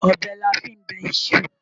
Ọbẹ̀ la fí ń bẹ iṣu.